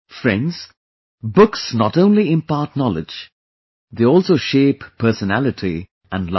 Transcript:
Friends, books not only impart knowledge; they also shape personality and life